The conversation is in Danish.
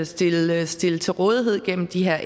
stille stille til rådighed gennem de her